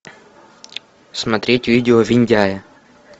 смотреть видео виндяя